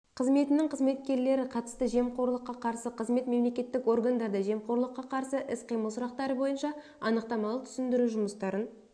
қызметінің қызметкерлері қатысты жемқорлыққа қарсы қызмет мемлекеттік органдарда жемқорлыққа қарсы іс-қимыл сұрақтары бойынша анықтамалық-түсіндіру жұмыстарын